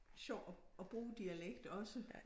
Sjovt at at bruge dialekt også